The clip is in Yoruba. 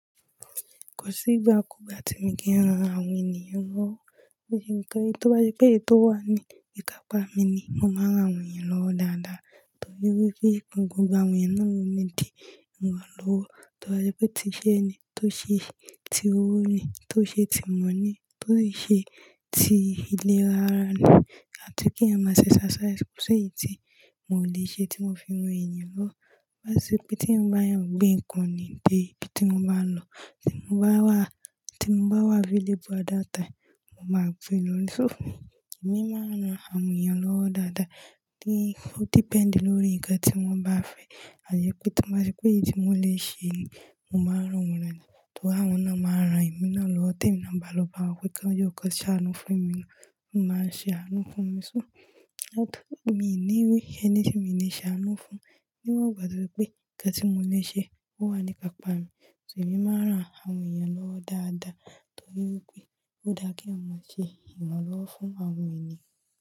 Kò sí ìgbà kú ìgbà tí mo kì ń ran àwọn ènìyàn lọ́wọ́. Nítorí tó bá ṣe pé èyí tó wà ní ìkápá mi ni, mo máa ń ran àwọn ènìyàn lọ́wọ́ dáadáa. Torí wípé gbogbo àwọn ènìyàn náà ló ní di ìrànlọ́wọ́. Tó bá ṣe pé ti iṣẹ́ ẹni, tí ó ṣe ti owó ni, tí ó ṣe ti ìmọ̀ ni, tí ó ṣe ti ìlera ara ni, àti kí èèyàn má ṣe exercise kò sí èyí tí mò lè ṣe tí mo fi ran ènìyàn lọ́. Tó bá ṣe pé t'éyàn bá yàn gbé ǹkan ni dé ibi tí wọ́n bá ń lọ, tí mo bá wà, tí mo bá wà available àdáta, mo máa gbé lọ ní. So fún mi, èmi máa ń ran àwọn ènìyàn lọ́wọ́ dáadáa tí ó depend lórí nǹkan tí wọ́n bá fẹ́. À yé pé tí mo bá rí pé èyí tí mo lè ṣe ni, mo máa rán wọ́n lọ́wọ́ ni. Torí àwọn náà máa rán èmi náà lọ́wọ́ t'émi náà bá lọ bá wọn pé kí wọ́n jọ̀ ó k'ọ́n ṣàánú fún èmi náà, wọ́n máa ń ṣe àánú fún mi. So, miì ní wí ẹni tí mi ǹ le ṣe àánú fún, níwọ̀n ìgbà tí wípé nǹkan tí mo lè ṣe ó wà ní ìkápá mi. Èmí máa ráà àwọn ènìyàn lọ́wọ́ dáadáa torí wípé ó dára k'éyàn má ṣe ìrànlọ́wọ́ fún àwọn ènìyàn.